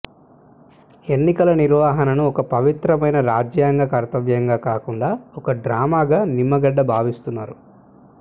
ఎన్నికల నిర్వహణను ఒక పవిత్ర మైన రాజ్యాంగ కర్తవ్యంగా కాకుండా ఒక డ్రామాగా నిమ్మగడ్డ భావిస్తున్నారు